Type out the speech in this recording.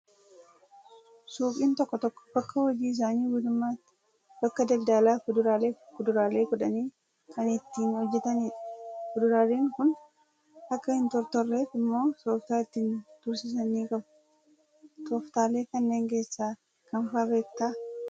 Suuqiin tokko tokko bakka hojii isaanii guutummaatti bakka daldalaa fuduraalee fi kuduraalee godhanii kan itti hojjatanidha. Fuduraaleen kun akka hin tortorreef immoo tooftaa ittiin tursiisan ni qabu. Tooftaalee kanneen keessaa kam fa'aa beektaa?